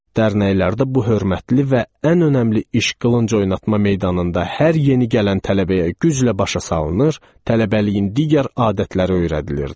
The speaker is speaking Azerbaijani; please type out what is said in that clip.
Dərnəklərdə bu hörmətli və ən önəmli iş qılınc oynatma meydanında hər yeni gələn tələbəyə güclə başa salınır, tələbəliyin digər adətləri öyrədilirdi.